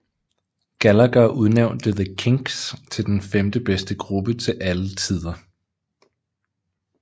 Gallagher udnævnte The Kinks til den femtebedste gruppe til alle tider